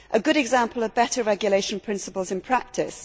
A good example of better regulation principles in practice.